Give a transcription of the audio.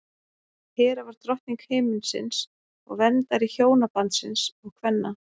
hera var drottning himinsins og verndari hjónabandsins og kvenna